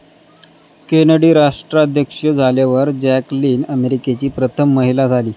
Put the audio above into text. Kennedy राष्ट्राध्यक्ष झाल्यावर Jacqueline अमेरिकेची प्रथम महिला झाली.